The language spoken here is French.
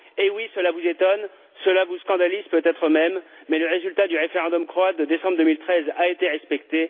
Eh oui, cela vous étonne, cela vous scandalise peut être même, mais le résultat du référendum croate de décembre 2013 a été respecté.